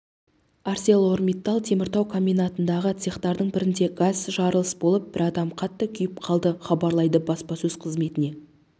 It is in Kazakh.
арселормиттал теміртау комбинатындағы цехтардың бірінде газ жарылыс болып бір адам қатты күйіп қалды хабарлайды баспасөз қызметіне